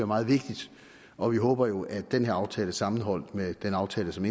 meget vigtigt og vi håber jo at den her aftale sammenholdt med den aftale som